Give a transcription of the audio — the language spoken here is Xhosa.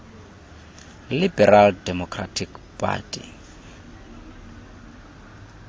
liberal democratic party